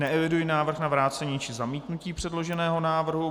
Neeviduji návrh na vrácení či zamítnutí předloženého návrhu.